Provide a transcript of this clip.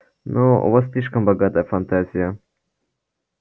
ну у вас слишком богатая фантазия